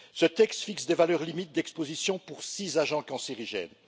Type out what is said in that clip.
Ce texte fixe des valeurs limites d'exposition pour six agents cancérigènes.